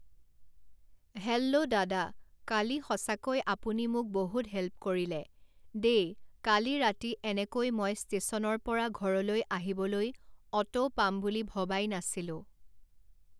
hello দাদা কালি সঁচাকৈ আপুনি মোক বহুত হেল্প কৰিলে দেই কালি ৰাতি এনেকৈ মই ষ্টেচনৰ পৰা ঘৰলৈ আহিবলৈ অ'টো পাম বুলি ভবাই নাছিলোঁ